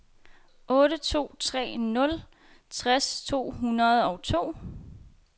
otte to tre nul tres to hundrede og to